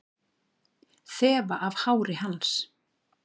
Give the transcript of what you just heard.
Þefa af hári hans.